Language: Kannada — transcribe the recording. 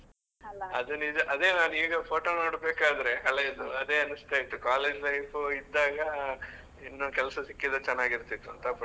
ನಿಜ ಅದೇ ನಾನ್ ಈಗ photo ನೋಡ್ಬೇಕಾದ್ರೆ ಹಳೇದು ಅದೇ ಅನಿಸ್ತಾ ಇತ್ತು college life ಇದ್ದಾಗ, ಇನ್ನೂ ಕೆಲ್ಸ ಸಿಕ್ಕಿದ್ರೆ ಚೆನ್ನಾಗಿರ್ತಿತ್ತು ಅಂತಾ but .